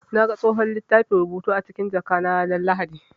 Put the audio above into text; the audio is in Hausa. Na ga tsohon littafin rubutu na a cikin jakata ranar Lahadi.